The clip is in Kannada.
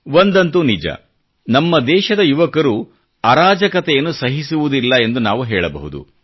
ಒಂದಂತೂ ನಿಜ ನಮ್ಮ ದೇಶದ ಯುವಕರು ಅರಾಜಕತೆಯನ್ನು ಸಹಿಸುವುದಿಲ್ಲ ಎಂದು ನಾವು ಹೇಳಬಹುದು